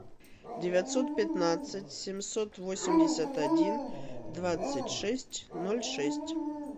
девятьсот пятнадцать семьсот восемьдесят один двадцать шесть ноль шесть